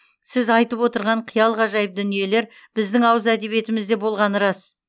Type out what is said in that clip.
сіз айтып отырған қиял ғажайып дүниелер біздің ауыз әдебиетімізде болғаны рас